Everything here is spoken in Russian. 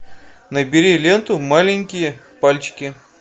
набери ленту маленькие пальчики